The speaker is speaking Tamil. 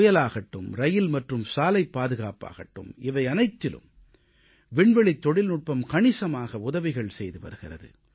புயலாகட்டும் ரயில் மற்றும் சாலைப் பாதுகாப்பாகட்டும் இவையனைத்திலும் விண்வெளித் தொழில்நுட்பம் கணிசமாக உதவிகள் செய்து வருகிறது